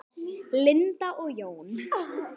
Linda og Jón.